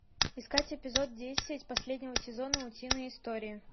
искать эпизод десять последнего сезона утиные истории